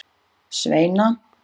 Sveina